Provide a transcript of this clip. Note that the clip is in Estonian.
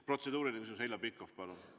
Protseduuriline küsimus, Heljo Pikhof, palun!